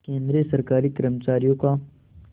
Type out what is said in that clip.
केंद्रीय सरकारी कर्मचारियों का